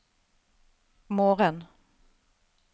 morgen